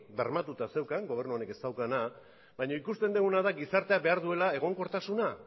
bermatuta zeukan gobernu honek ez daukana baina ikusten diguna da gizarteak behar duela egonkortasuna